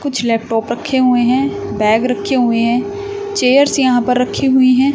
कुछ लैपटॉप रखे हुए हैं बैग रखे हुए हैं चेयर्स यहां पर रखी हुई हैं।